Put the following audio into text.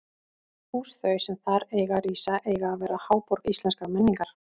Hús þau, sem þar eiga að rísa, eiga að verða háborg íslenskrar menningar!